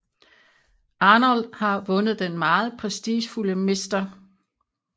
Arnold har vundet den meget prestigefulde Mr